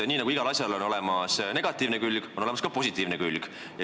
Nii nagu igal asjal on olemas negatiivne külg, on olemas ka positiivne külg.